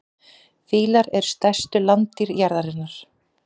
Fílar eru stærstu landdýr jarðarinnar.